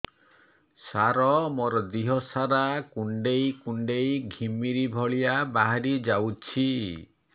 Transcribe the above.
ସାର ମୋର ଦିହ ସାରା କୁଣ୍ଡେଇ କୁଣ୍ଡେଇ ଘିମିରି ଭଳିଆ ବାହାରି ଯାଉଛି